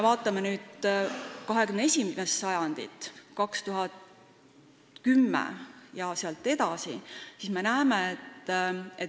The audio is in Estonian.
Vaatame nüüd 21. sajandit, alates aastast 2010.